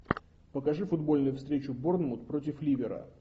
покажи футбольную встречу борнмут против ливера